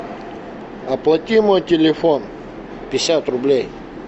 оплати мой телефон пятьдесят рублей